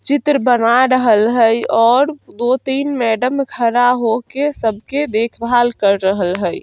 चित्र बना रहल हई और दो-तीन मैडम खड़ा हो के सब के देखभाल कर रहल हई।